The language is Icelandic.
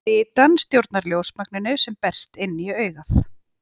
Litan stjórnar ljósmagninu sem berst inn í augað.